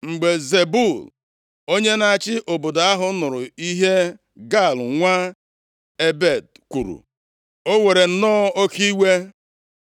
Mgbe Zebul onye na-achị obodo ahụ nụrụ ihe Gaal nwa Ebed kwuru, o were nnọọ oke iwe.